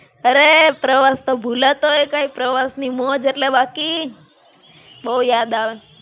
અરે, પ્રવાસ તો ભુલાતો હોય કંઈ! પ્રવાસ ની મોજ એટલે બાકી! બહું યાદ આવે.